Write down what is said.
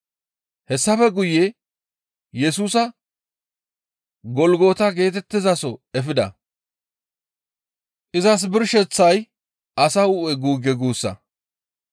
Hessafe guye Yesusa Golgota geetettizaso efida; izas birsheththay, «Asa hu7e guugge» guussa.